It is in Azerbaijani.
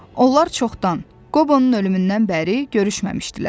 Onlar çoxdan, Qobonun ölümündən bəri görüşməmişdilər.